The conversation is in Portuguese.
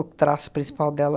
O traço principal dela.